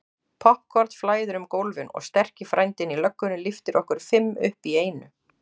Poppkorn flæðir um gólfin og sterki frændinn í löggunni lyftir okkur fimm upp í einu.